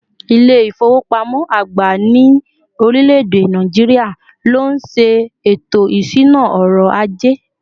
İle ifowopamọ agba ni orileede Nigeria, ló nşe eto isuna ọrọ̀ aje